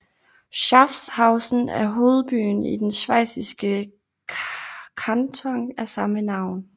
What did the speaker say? Schaffhausen er hovedbyen i den schweiziske kanton af samme navn